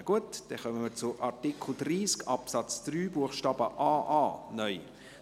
Wir kommen zu Artikel 30 Absatz 3 Buchstabe aa (neu).